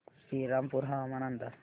श्रीरामपूर हवामान अंदाज